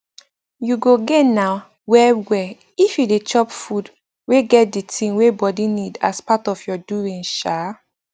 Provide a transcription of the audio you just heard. u go gain na well well if you dey chop food wey get de tin wey body need as part of ur doings um